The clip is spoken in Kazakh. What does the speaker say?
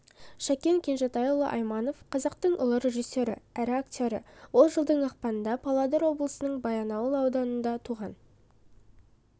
шәкен кенжетайұлы айманов қазақтың ұлы режиссері әрі актері ол жылдың ақпанында павлодар облысының баянауыл ауданында туған